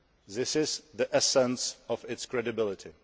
This is the essence of its credibility.